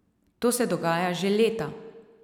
To se dogaja že leta!